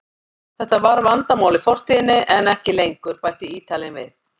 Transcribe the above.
Þetta var vandamál í fortíðinni en ekki lengur, bætti Ítalinn við.